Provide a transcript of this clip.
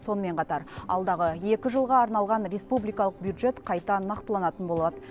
сонымен қатар алдағы екі жылға арналған республикалық бюджет қайта нақтыланатын болады